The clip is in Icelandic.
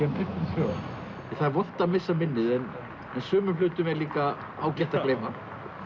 um söguna það er vont að missa minnið en sumum hlutum er líka ágætt að gleyma